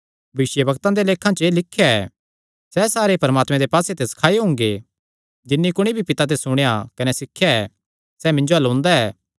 भविष्यवक्तां दे लेखां च एह़ लिख्या ऐ सैह़ सारे परमात्मे दे पास्से ते सखाऐयो हुंगे जिन्नी कुणी भी पिता ते सुणेया कने सिखया ऐ सैह़ मिन्जो अल्ल ओंदा ऐ